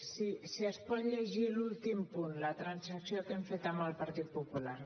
si es pot llegir l’últim punt la transacció que hem fet amb el partit popular